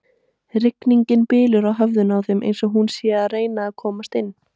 Rigningin bylur á höfðinu á þeim eins og hún sé að reyna að komast inn.